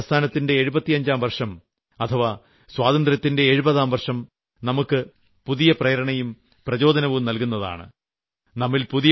quit India പ്രസ്ഥാനത്തിന്റെ എഴുപത്തിയഞ്ചാം വർഷം അഥവാ സ്വാതന്ത്ര്യത്തിന്റെ എഴുപതാം വർഷം നമുക്ക് പുതിയ പ്രേരണയും പ്രചോദനവും നൽകുന്നതാണ്